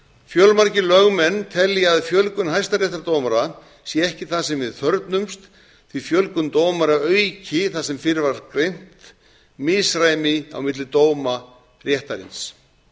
fjölmargir lögmenn telja að fjölgun hæstaréttardómara sé ekki það sem við þörfnumst því að fjölgun dómara auki það sem fyrr var greint misræmi á milli dóma réttarins